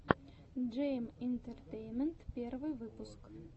джейэм интертеймент первый выпуск